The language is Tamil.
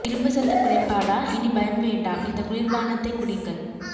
இரும்பு சத்து குறைப்பாடா இனி பயம் வேண்டாம் இந்த குளிர்ப்பானத்தை குடிங்கள்